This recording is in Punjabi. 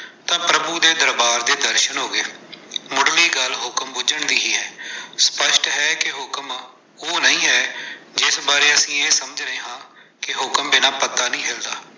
ਤਾਂ ਪ੍ਰਭੂ ਦੇ ਦਰਬਾਰ ਦੇ ਦਰਸ਼ਨ ਹੋ ਗਏ, ਮੁਢਲੀ ਗੱਲ ਹੁਕਮ ਬੁਝਣ ਦੀ ਹੈ, ਸਪੱਸ਼ਟ ਹੈ ਕਿ ਹੁਕਮ ਉਹ ਨਹੀਂ ਹੈ, ਜਿਸ ਬਾਰੇ ਅਸੀਂ ਇਹ ਸੋਚਦੇ ਹਾਂ ਕਿ ਹੁਕਮ ਬਿਨਾਂ ਪੱਤਾ ਨਹੀਂ ਹਿਲਦਾ।